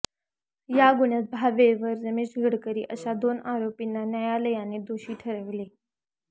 या गुन्ह्यात भावे व रमेश गडकरी अशा दोन आरोपीना न्यायालयाने दोषी ठरविले